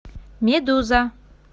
медуза